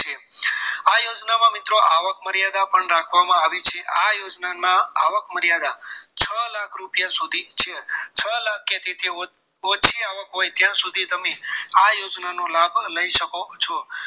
આ યોજનામાં મિત્રો આવક મર્યાદા પણ રાખવામાં આવેલી છે આ યોજનામાં આવક મર્યાદા છ લાખ રૂપિયા સુધી છે છ લાખ કે તેથી ઓછી આવક હોય ત્યાં સુધી તમે આ યોજનાનો લાભ લઈ શકો છો